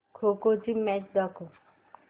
खो खो ची मॅच दाखव